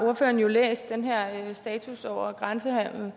ordføreren jo læst status over grænsenhandel